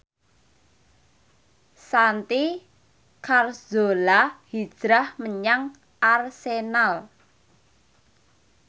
Santi Carzola hijrah menyang Arsenal